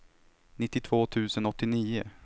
nittiotvå tusen åttionio